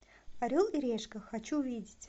орел и решка хочу увидеть